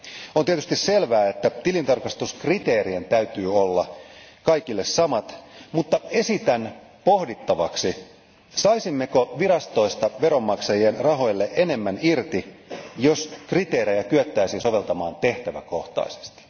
On tietysti selvää, että tilintarkastuskriteerien täytyy olla kaikille samat, mutta esitän pohdittavaksi, saisimmeko virastoista veronmaksajien rahoilla enemmän irti, jos kriteerejä kyettäisiin soveltamaan tehtäväkohtaisesti.